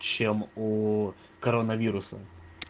чем у коронавируса